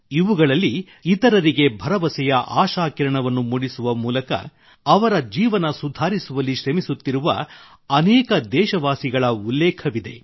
ಇವುಗಳಲ್ಲಿ ಇತರರಿಗೆ ಭರವಸೆಯ ಆಶಾ ಕಿರಣವನ್ನು ಮೂಡಿಸುವ ಮೂಲಕ ಅವರ ಜೀವನ ಸುಧಾರಿಸುವಲ್ಲಿ ಶ್ರಮಿಸುತ್ತಿರುವ ಅನೇಕ ದೇಶವಾಸಿಗಳ ಉಲ್ಲೇಖವಿದೆ